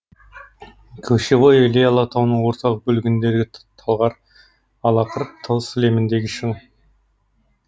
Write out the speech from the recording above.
кошевой іле алатауының орталық бөлігіндегі талғар алақыр тау сілеміндегі шың